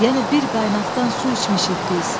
Yəni bir qaynaqdan su içmişik biz.